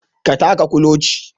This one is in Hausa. Ka taka kuloci